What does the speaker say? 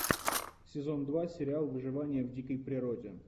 сезон два сериал выживание в дикой природе